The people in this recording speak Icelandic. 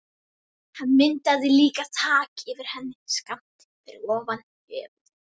Hann myndaði líka þak yfir henni, skammt fyrir ofan höfuðið.